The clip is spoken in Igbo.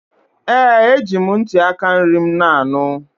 Ee! Eji m ntị aka nri m na-anụ.